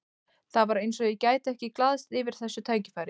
Það var eins og ég gæti ekki glaðst yfir þessu tækifæri.